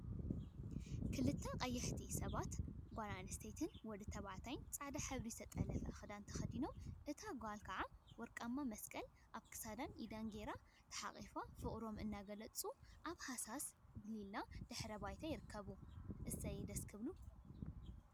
ክልተ ቀያሕቲ ሰባት ጓል አንስተይቲን ወዲ ተባዕታይን ፃዕዳ ሕብሪ ዝተጠለፈ ክዳን ተከዲኖም እታ ጓል ከዓ ወርቃማ መስቀል አብ ክሳዳን ኢዳን ገይራ ተሓቛቍፎም ፍቅሮም እናገለፁ አብ ሃሳስ ሊላ ሕብሪ ድሕረ ባይታ ይርከቡ፡፡ እሰይ ደስ ክብሉ ፡፡